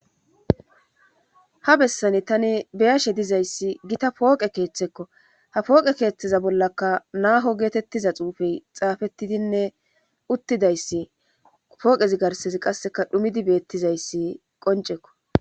Ha bessane tane beyashe dizayssi gita pooqe keeththekko ha pooqe keeththeza bollaka naaho geetettiza xuufey xaafettidinne uttidayssi pooqezi garsezi qasseka dhumidi beettizayssi qoncekko.